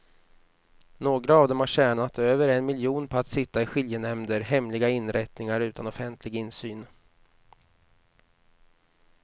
Några av dem har tjänat över en miljon på att sitta i skiljenämnder, hemliga inrättningar utan offentlig insyn.